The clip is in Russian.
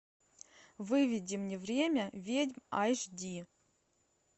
выведи мне время ведьм аш ди